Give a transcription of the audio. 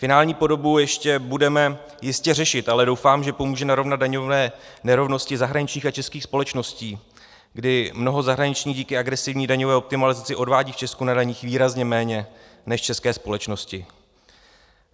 Finální podobu ještě budeme jistě řešit, ale doufám, že pomůže narovnat daňové nerovnosti zahraničních a českých společností, kdy mnoho zahraničních díky agresivní daňové optimalizaci odvádí v Česku na daních výrazně méně než české společnosti.